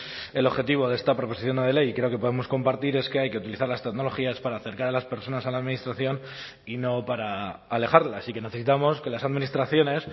el objetivo de esta proposición no de ley y creo que podemos compartir es que hay que utilizar las tecnologías para acercar a las personas a la administración y no para alejarlas y que necesitamos que las administraciones